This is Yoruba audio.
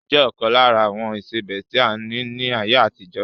Iyọ̀ jẹ ọkan lára àwọn ìsebẹ́ tí a ní ni ayé àtijọ́